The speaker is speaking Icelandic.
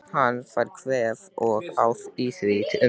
Hann fær kvef og á í því um tíma.